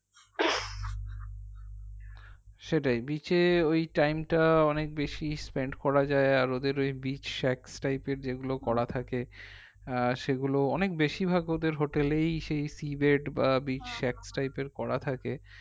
সেটাই beach এ ওই time টা অনেক বেশি spend করা যাই আর ওদের ওই beach shacks type এর যেগুলো করা থাকে আহ সেগুলো অনেক বেশিভাগ ওদের hotel এই সেই sea bed বা type এর করা থাকে